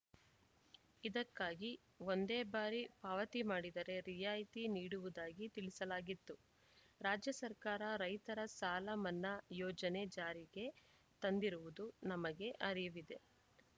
ಇದಕ್ಕಾಗಿ ಒಂದೇ ಬಾರಿ ಪಾವತಿ ಮಾಡಿದರೆ ರಿಯಾಯಿತಿ ನೀಡುವುದಾಗಿ ತಿಳಿಸಲಾಗಿತ್ತು ರಾಜ್ಯ ಸರ್ಕಾರ ರೈತರ ಸಾಲ ಮನ್ನಾ ಯೋಜನೆ ಜಾರಿಗೆ ತಂದಿರುವುದು ನಮಗೆ ಅರಿವಿದೆ